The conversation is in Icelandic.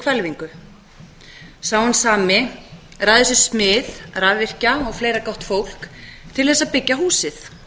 hvelfingu sá hinn sami ræður sér smið rafvirkja og fleira gott fólk til þess að byggja húsið